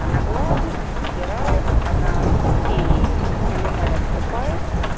она гладит стирает она детей пеленает купает